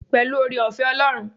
Pẹ̀lú oore-ọ̀fẹ́ Ọlọ́run.